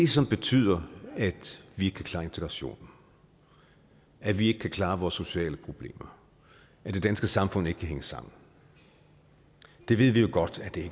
som betyder at vi ikke kan klare integrationen at vi ikke kan klare vores sociale problemer at det danske samfund ikke kan hænge sammen det ved vi jo godt at det